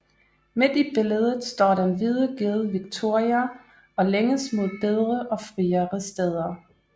Midt i billedet står den hvide ged Victoria og længes mod bedre og friere steder